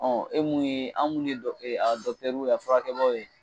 Ɔ e mun ye an mun ye dɔc a dɔkutɛruw ye a furakɛbaw ye